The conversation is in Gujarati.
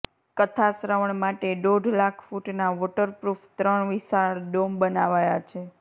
કથા શ્રવણ માટે દોઢ લાખ ફૂટના વોટરપ્રુફ ત્રણ વિશાળ ડોમ બનાવાયા છે